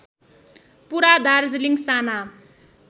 पुरा दार्जिलिङ साना